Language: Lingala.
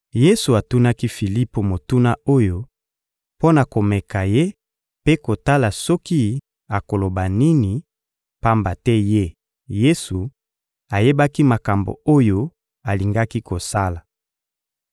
Yesu atunaki Filipo motuna oyo mpo na komeka ye mpe kotala soki akoloba nini, pamba te Ye, Yesu, ayebaki makambo oyo alingaki kosala.